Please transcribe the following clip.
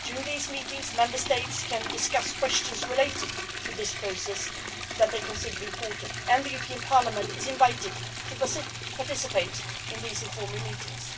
During these meetings, Member States can discuss questions related to this process that they consider important, and the European Parliament is invited to participate in these informal meetings.